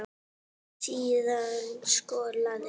Síðan skolað.